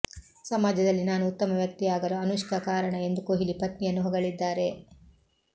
ಸಮಾಜದಲ್ಲಿ ನಾನು ಉತ್ತಮ ವ್ಯಕ್ತಿಯಾಗಲು ಅನುಷ್ಕಾ ಕಾರಣ ಎಂದು ಕೊಹ್ಲಿ ಪತ್ನಿಯನ್ನು ಹೊಗಳಿದ್ದಾರೆ